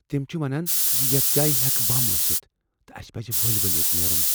تم چھ ونان ز یتھ جایہ ہیٚکہ بم ٲستھ تہٕ اسہ پز ؤلۍ ؤلۍ ییٚتہ نیرن۔